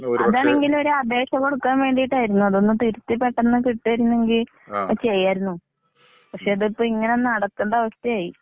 അതാണെങ്കിൽ ഒരു അപേക്ഷ കൊടുക്കാൻ വേണ്ടീട്ടായിരിന്നു. അതൊന്നു തിരുത്തി പെട്ടന്നു കിട്ടയിരുന്നെങ്കിൽ അത് ചെയ്യായിരിന്നു. പക്ഷേ, ഇതിപ്പൊ ഇങ്ങനെ നടക്കേണ്ട അവസ്ഥയായി.